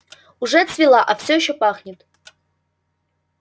уже отцвела а всё ещё пахнет